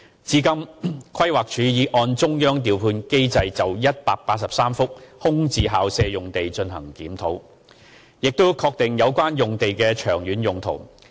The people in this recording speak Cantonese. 至今，規劃署已按中央調配機制就183幅空置校舍用地進行檢討，並確定有關用地的長遠土地用途。